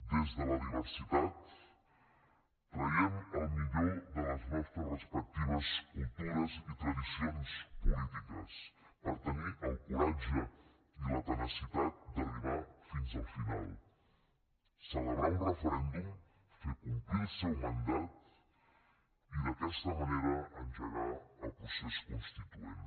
des de la diversitat traiem el millor de les nostres respectives cultures i tradicions polítiques per tenir el coratge i la tenacitat d’arribar fins al final celebrar un referèndum fer complir el seu mandat i d’aquesta manera engegar el procés constituent